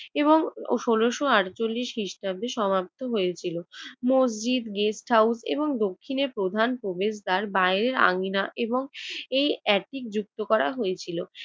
এবং ষোলশ আটচল্লিশ খ্রিস্টাব্দে সমাপ্তি সমাপ্ত হয়েছিল। মসজিদ, গেস্ট হাউস এবং দক্ষিণের প্রধান প্রবেশদ্বার, বাহিরের আঙ্গিনা এবং এই এপিক যুক্ত করা হয়েছিল।